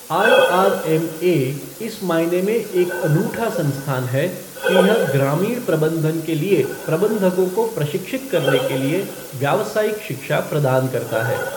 IRMA इस मायने में एक अनूठा संस्थान है कि यह ग्रामीण प्रबंधन के लिए प्रबंधकों को प्रशिक्षित करने के लिए व्यावसायिक शिक्षा प्रदान करता है।